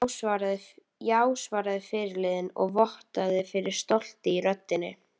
Já, svaraði fyrirliðinn og vottaði fyrir stolti í röddinni.